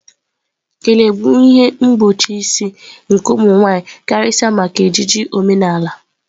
Gele bụ ihe mgbochi isi nke ụmụ nwaanyị karịsịa maka ejiji omenala.